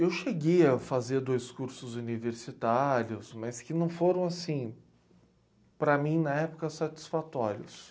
Eu cheguei a fazer dois cursos universitários, mas que não foram, assim, para mim, na época, satisfatórios.